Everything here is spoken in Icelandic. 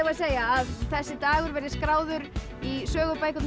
segja að þessi dagur verði skráður í sögubækurnar